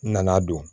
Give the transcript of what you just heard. N nana don